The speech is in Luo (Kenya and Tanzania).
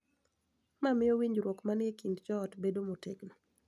Ma miyo winjruok ma ni e kind joot bedo motegno.